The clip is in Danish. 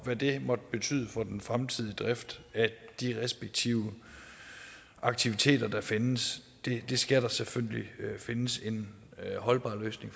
hvad det måtte betyde for den fremtidige drift af de respektive aktiviteter der findes det skal der selvfølgelig findes en holdbar løsning